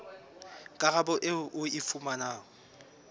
karabo eo o e fumanang